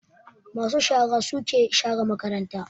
Ma su shara suke share makaranta